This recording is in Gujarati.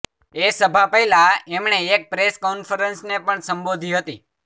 એ સભા પહેલા એમણે એક પ્રેસ કોન્ફરન્સ ને પણ સંબોધી હતી